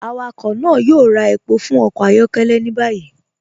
Awakọ náà yóò rà èpọ̀ fún ọkọ ayọkẹlẹ ni báyì.